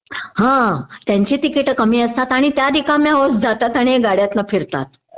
हं त्यांची तिकीट कमी असतात आणि त्या रिकाम्या होत जातात आणि गाड्यातनं फिरतात